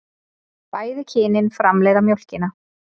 Bæði kynin framleiða mjólkina.